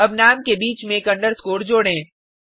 अब नाम के बीच में एक अंडरस्कोर जोडें